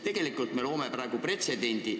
Tegelikult me loome praegu pretsedendi.